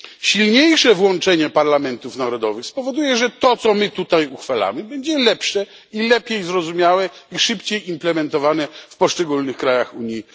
Silniejsze włączenie parlamentów narodowych spowoduje, że to, co my tutaj uchwalamy, będzie lepsze, bardziej zrozumiałe i szybciej implementowane w poszczególnych krajach Unii.